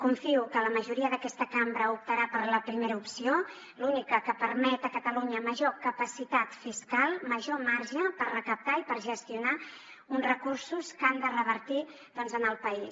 confio que la majoria d’aquesta cambra optarà per la primera opció l’única que permet a catalunya major capacitat fiscal major marge per recaptar i per gestionar uns recursos que han de revertir en el país